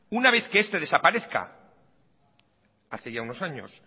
una vez que este desaparezca hace ya unos años